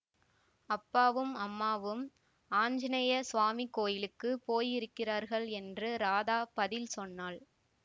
அப்பாவும் அம்மாவும் ஆஞ்சநேய ஸ்வாமி கோயிலுக்கு போயிருக்கிறார்கள் என்று ராதா பதில் சொன்னாள்